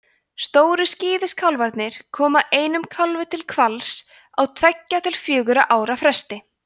stóru skíðishvalirnir koma einum kálfi til hvals á tveggja til fjögurra ára fresti